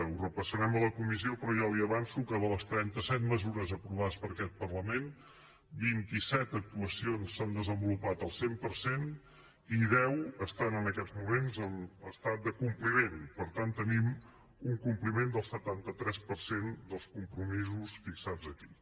ho repassarem a la comissió però ja li avanço que de les trenta set mesures aprovades per aquest parlament vint i set actuacions s’han desenvolupat al cent per cent i deu estan en aquests moments en estat de compliment per tant tenim un compliment del setanta tres per cent dels compromisos fixats aquí